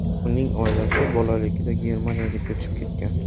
Uning oilasi bolaligida Germaniyaga ko‘chib ketgan.